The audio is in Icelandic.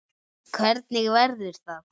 Hvernig verður það?